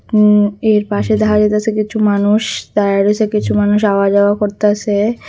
উঁ এর পাশে দেখা যাইতাসে কিছু মানুষ দাঁড়ায় রইসে কিছু মানুষ আওয়া যাওয়া করতাসে।